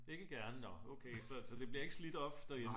ikke gerne nå så det bliver ikke slidt op derhjemme?